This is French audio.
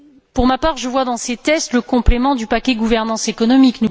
Pour ma part, je vois dans ces tests le complément du paquet sur la gouvernance économique.